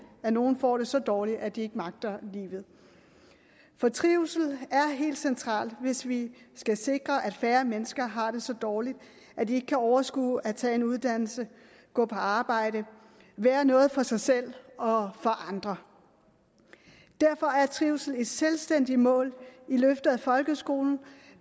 at nogle får det så dårligt at de ikke magter livet trivsel er helt centralt hvis vi skal sikre at færre mennesker har det så dårligt at de ikke kan overskue at tage en uddannelse gå på arbejde være noget for sig selv og for andre derfor er trivsel et selvstændigt mål i løftet af folkeskolen